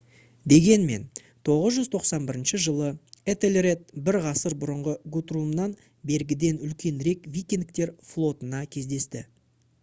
дегенмен 991 жылы этельред бір ғасыр бұрынғы гутрумнан бергіден үлкенірек викингтер флотына кездесті